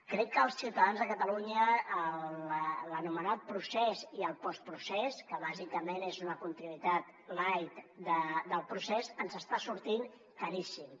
crec que als ciutadans de catalunya l’anomenat procés i el bàsicament és una continuïtat light del procés ens està sortint caríssim